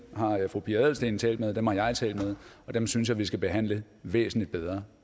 har fru pia adelsteen talt med og dem har jeg talt med og dem synes jeg vi skal behandle væsentlig bedre